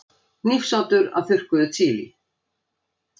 Hnífsoddur af þurrkuðu chili.